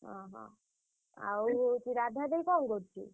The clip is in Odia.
ଅହ ଆଉ ହଉଛି ରାଧା ଦେଇ କଣ କରୁଛି?